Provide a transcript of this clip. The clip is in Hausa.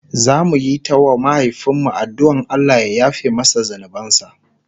zamuyi ta wa mahaifin mu addu'an Allah ya yafe masa zunubansa